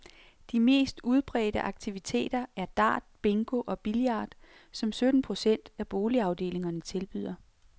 De mest udbredte aktiviteter er dart, bingo og billard, som sytten procent af boligafdelingerne tilbyder.